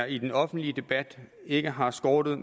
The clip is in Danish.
i den offentlige debat ikke har skortet